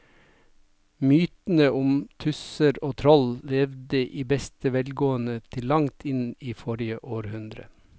Mytene om tusser og troll levde i beste velgående til langt inn i forrige århundre.